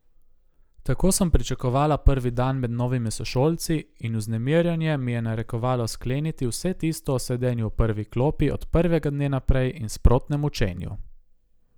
Tako sem pričakovala prvi dan med novimi sošolci in vznemirjenje mi je narekovalo skleniti vse tisto o sedenju v prvi klopi od prvega dne naprej in sprotnem učenju.